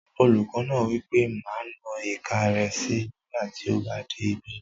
Olùkọ́ náà wí pé "má na ìka rẹ síi nígbàtí ó bá dé ibí!"